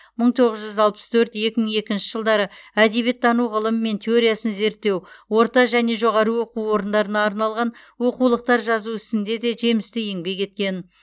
мың тоғыз жүз алпыс төрт екі мың екінші жылдары әдебиеттану ғылымы мен теориясын зерттеу орта және жоғары оқу орындарына арналған оқулықтар жазу ісінде де жемісті еңбек еткен